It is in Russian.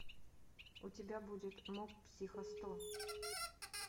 у тебя будет моб психо сто